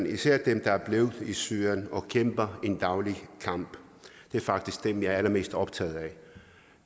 især dem der er blevet i syrien og kæmper en daglig kamp det er faktisk dem jeg er allermest optaget af